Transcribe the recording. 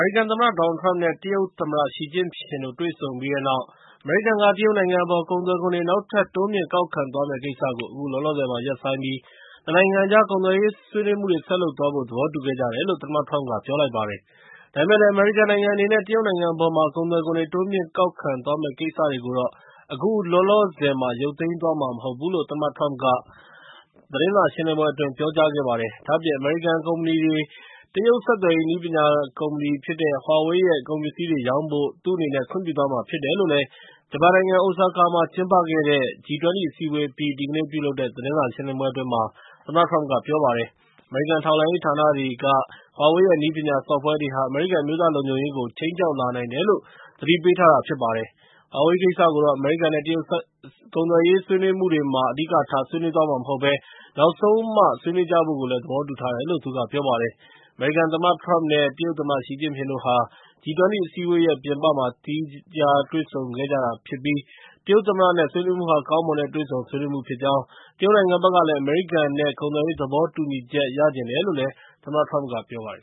ရိကန်သမ္မတ Donald Trump နဲ့ တရုတ်သမ္မတ Xi Jinping နဲ့ တွေ့ဆုံပြီးတဲ့နောက် အမေရိကန်က တရုတ်နိုင်ငံအပေါ် ကုန်သွယ်ခွန်တွေ နောက်ထပ် တိုးမြှင့်ကောက်ခံသွားမယ့်ကိစ္စကို အခုလောလောဆယ်မှာ ရပ်ဆိုင်းပြီး နှစ် နိုင်ငံ ကုန်သွယ်ရေးဆွေးနွေးမှုတွေ ဆက်လုပ်သွားဖို့ သဘောတူခဲ့ကြတယ်လို့ သမ္မတထရမ့်က ပြောလိုက်ပါတယ်။ ဒါပေမဲ့လည်း အမေရိကန်အနေနဲ့ တရုတ်နိုင်ငံအပေါ်မှာ ကုန်သွယ်ခွန်တွေ တိုးမြှင့်ကောက်ခံသွားမယ့် ကိစ္စတွေကိုတော့ အခုလောလောဆယ်မှာ ရုပ်သိမ်းသွားမှာ မဟုတ်ဘူးလို့ သမ္မတထရမ့်က သတင်းစာ ရှင်းလင်းပွဲအတွင်း ပြောကြားလိုက်ပါတယ်။ ဒါ့အပြင် အမေရိကန်ကုမ္ပဏီတွေ တရုတ် ဆက်သွယ်ရေး နည်းပညာကုမ္ပဏီ Huawei ရဲ့ ကုန်ပစ္စည်းတွေကို ရောင်းဖို့ သူ့အနေနဲ့ ခွင့်ပြုသွားမှာ ဖြစ်တယ်လို့ ဂျပန်နိုင်ငံ အိုဆာကာမြို့မှာ ကျင်းပခဲ့တဲ့ G-20 အစည်းအဝေး အပြီး ဒီကနေ့ ပြုလုပ်တဲ့ သတင်းစာရှင်းလင်းပွဲမှာ ပြောပါတယ်။ အမေရိကန် ထောက်လှမ်းရေးဌာနတွေက Huawei ရဲ့ နည်းပညာ Software တွေဟာ အမေရိကန် အမျိုးသားလုံခြုံရေးကို ခြိမ်းခြောက် လာနိုင်တယ်လို့ သတိပေးထားတာဖြစ်ပါတယ်။ ဟွာဝေးကိစ္စကိုတော့ အမေရိကန်နဲ့ တရုတ်ကုန်သွယ်ရေး ဆွေးနွေးမှုတွေမှာ အဓိကထားဆွေးနွေးမှာ မဟုတ်ဘဲ နောက်ဆုံးမှ ဆွေးနွေးကျဖို့ သဘောတူထားတယ်လို့လည်း သူက ပြောပါတယ်။ အမေရိကန်သမ္မတထရမ့် နဲ့ တရုတ်သမ္မတရှီကျင့်ဖျင်တို့ဟာ G-20 အစည်းအဝေးရဲ့ ပြင်ပမှာ သီးသန့်တွေ့ဆုံခဲ့ကြတာဖြစ်ပြီး တရုတ်သမ္မတနဲ့ ဆွေးနွေးမှုဟာ ကောင်းမွန်တဲ့ တွေ့ဆုံဆွေးနွေးမှုဖြစ်ကြောင်း တရုတ်နိုင်ငံဘက်ကလည်း အမေရိကန် ကုန်သွယ်ရေးသဘောတူညီချက် ရချင်တယ်လို့ သမ္မတထရမ့်က ပြောပါတယ်